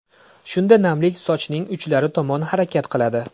Shunda namlik sochning uchlari tomon harakat qiladi.